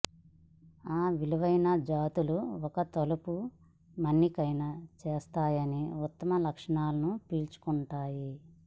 ఆ విలువైన జాతులు ఒక తలుపు మన్నికైన చేస్తాయని ఉత్తమ లక్షణాలను పీల్చుకుంటాయి